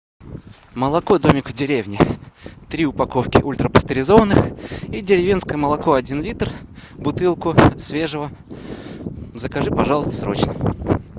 молоко домик в деревне три упаковки ультрапастеризованное и деревенское молоко один литр бутылку свежего закажи пожалуйста срочно